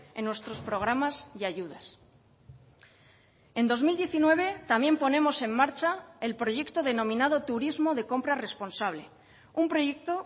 en nuestros programas y ayudas en dos mil diecinueve también ponemos en marcha el proyecto denominado turismo de compra responsable un proyecto